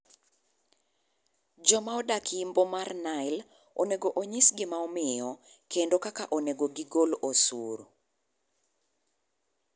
Joma odak Yimbo mar Nile onego onyis gima omiyo kendo kaka onego gi gol osuru.